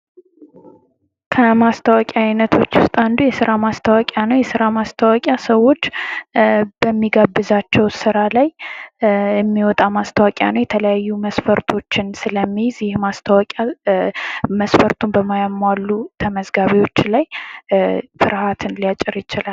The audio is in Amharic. ከማስታወቂያ ዐይነቶች ውስጥ አንዱ የስራ ማስታወቂያ ነው የስራ ማስታወቂያ ሰዎች በሚጋብዛቸው ስራ ላይ የሚወጣ ማስታወቂያ ነው የተለያዩ መስፈርቶችን ስለሚይዝ ይህ የማስታወቂያ መስፈርቱን በማያሟሉ ተመዝጋቢዎች ላይ ፍርሃትን ሊያጭር ይችላል ::